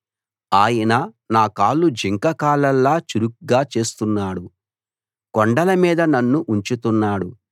ఆయన నాకాళ్లు జింక కాళ్లలా చురుగ్గా చేస్తున్నాడు కొండలమీద నన్ను ఉంచుతున్నాడు